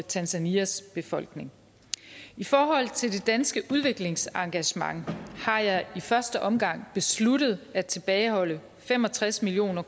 tanzanias befolkning i forhold til det danske udviklingsengagement har jeg i første omgang besluttet at tilbageholde fem og tres million